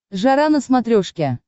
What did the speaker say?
жара на смотрешке